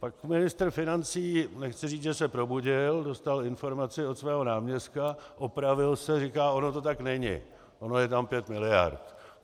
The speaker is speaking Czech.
Pak ministr financí - nechci říct, že se probudil - dostal informaci od svého náměstka, opravil se, říká: ono to tak není, ono je tam pět miliard.